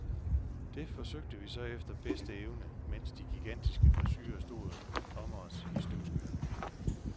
Det forsøgte vi så efter bedste evne, mens de gigantiske frisurer stod om os i støvskyerne.